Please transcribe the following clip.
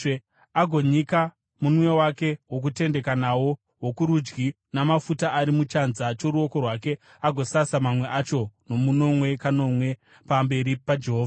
agonyika munwe wake wokutendeka nawo wokurudyi mumafuta ari muchanza choruoko rwake agosasa mamwe acho nomunwe kanomwe pamberi paJehovha.